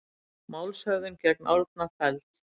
Málshöfðun gegn Árna felld